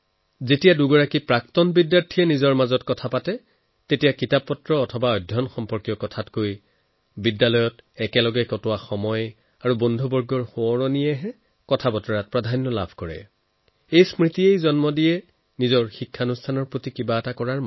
যেতিয়া এলুমনাইয়ে পৰস্পৰে কথা পাতে তেতিয়া স্কুল কলেজৰ তেওঁলোকৰ স্মৃতিত কিতাপ আৰু অধ্যয়নতকৈ বেছি কেম্পাছত অতিবাহিত কৰা সময় আৰু বন্ধুবৰ্গৰ সৈতে কটোৱা মুহূৰ্তবিলাক থাকে আৰু এই স্মৃতিৰ পৰাই জন্ম লয় এটা ভাবনা ইনষ্টিটিউচনৰ বাবে কিবা কৰাৰ